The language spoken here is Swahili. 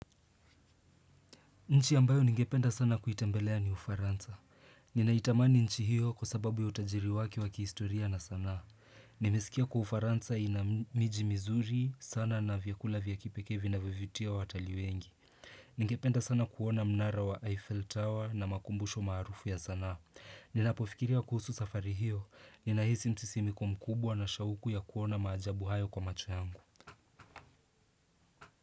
Nchi ambayo ningependa sana kuitembelea ni ufaransa. Ninaitamani nchi hiyo kwa sababu ya utajiri wake wa kihistoria na saana. Nimeskia kwa ufaransa inamiji mizuri sana na vyakula vya kipekee vinavyo vutia watali wengi. Ningependa sana kuona mnara wa Eiffel Tower na makumbusho marufu ya saana. Ninapofikiria kuhusu safari hiyo. Ninahisi msisimko mkubwa na shauku ya kuona maajabu hayo kwa macho yangu.